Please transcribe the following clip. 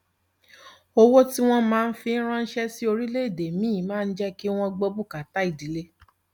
owó tí wọn máa ń fi ránṣẹ sí orílẹèdè míì máa ń jẹ kí wọn gbọ bùkátà ìdílé